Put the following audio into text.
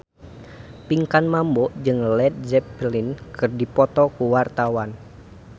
Pinkan Mambo jeung Led Zeppelin keur dipoto ku wartawan